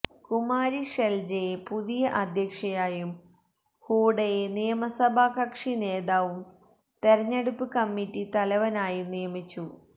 കുമാരി ഷെൽജയെ പുതിയ അധ്യക്ഷയായും ഹൂഡയെ നിയമസഭ കക്ഷി നേതാവും തെരഞ്ഞെടുപ്പ് കമ്മിറ്റി തലവനായും നിയമിച്ചു